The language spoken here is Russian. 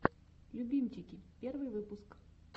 любимчики первый выпуск